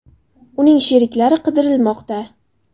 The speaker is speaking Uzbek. Uning sheriklari qidirilmoqda.